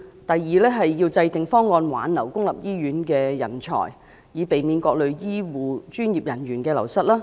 第二，制訂方案挽留公立醫院的人才，以避免各類醫護專業人員流失。